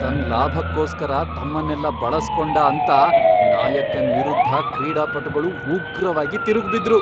ತನ್ನ್ ಲಾಭಕ್ಕೋಸ್ಕರ ತಮ್ಮನ್ನೆಲ್ಲ ಬಳಸ್ಕೊಂಡ ಅಂತ ನಾಯಕನ್ ವಿರುದ್ಧ ಕ್ರೀಡಾಪಟುಗಳು ಉಗ್ರವಾಗಿ ತಿರುಗ್ಬಿದ್ರು.